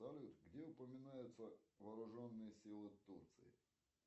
салют где упоминаются вооруженные силы турции